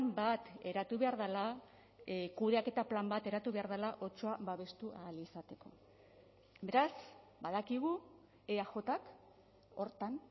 bat eratu behar dela kudeaketa plan bat eratu behar dela otsoa babestu ahal izateko beraz badakigu eajk horretan